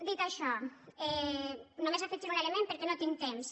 dit això només afegirhi un element perquè no tinc temps